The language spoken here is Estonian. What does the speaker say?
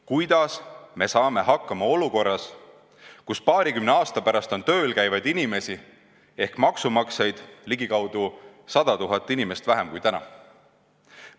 Kuidas me saame hakkama olukorras, kus paarikümne aasta pärast on tööl käivaid inimesi ehk maksumaksjaid ligikaudu 100 000 inimest vähem kui täna?